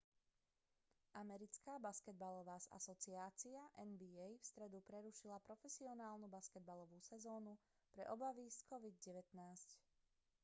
americká basketbalová asociácia nba v stredu prerušila profesionálnu basketbalovú sezónu pre obavy z covid-19